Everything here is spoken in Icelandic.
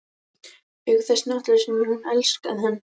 Auk þess náttúrlega sem hún elskaði hann.